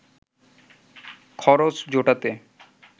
খরচ জোটাতে